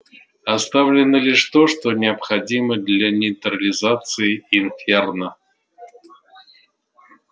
оставлено лишь то что необходимо для нейтрализации инферно